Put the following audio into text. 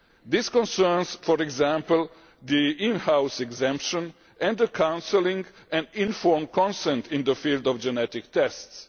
This concerns, for example, in house exemption and counselling and informed consent in the field of genetic tests.